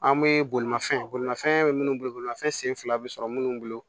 An bɛ bolimafɛn bolimafɛn bɛ minnu bolo bolimafɛn sen fila bɛ sɔrɔ minnu bolo